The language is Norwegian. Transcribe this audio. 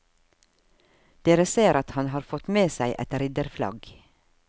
Dere ser at han har fått med seg et ridderflagg.